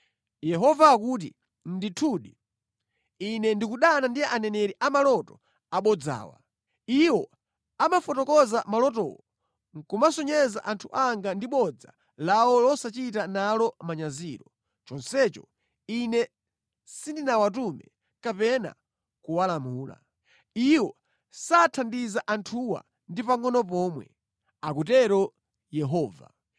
Yehova akuti, “Ndithudi, Ine ndikudana ndi aneneri a maloto abodzawa. Iwo amafotokoza malotowo nʼkumasocheretsa anthu anga ndi bodza lawo losachita nalo manyazilo, chonsecho Ine sindinawatume kapena kuwalamula. Iwo sathandiza anthuwa ndi pangʼono pomwe,” akutero Yehova.